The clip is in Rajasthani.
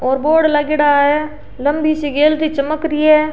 और बोर्ड लागेड़ा है लम्बी सी गेंद सी चमक री है।